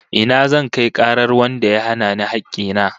Ina zan kai karar wanda ya hana ni hakki na?